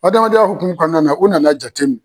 Hadamadenya hokumu kɔɔna na u nan'a jateminɛ